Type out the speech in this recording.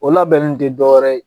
O labɛnen te dɔ wɛrɛ ye